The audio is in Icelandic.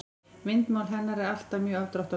Myndmál hennar er alltaf mjög afdráttarlaust.